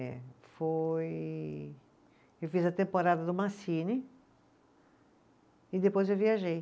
Eh, foi, eu fiz a temporada do e depois eu viajei.